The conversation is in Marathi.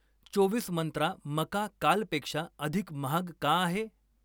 चोवीस मंत्रा मका कालपेक्षा अधिक महाग का आहे?